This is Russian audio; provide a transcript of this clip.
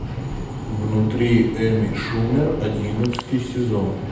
внутри эми шумер одиннадцатый сезон